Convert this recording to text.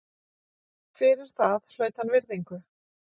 Fyrir það hlaut hann virðingu.